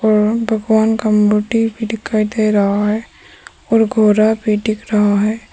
राम भगवान का मूर्ति भी दिखाई दे रहा है। और घोड़ा भी दिख रहा है।